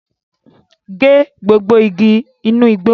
Gé gbogbo igi inu igbó!